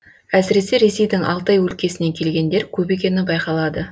әсіресе ресейдің алтай өлкесінен келгендер көп екені байқалады